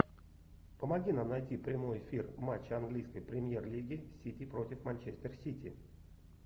помоги нам найти прямой эфир матча английской премьер лиги сити против манчестер сити